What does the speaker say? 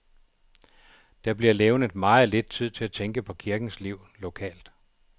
Der bliver levnet meget lidt tid til at tænke på kirkens liv lokalt.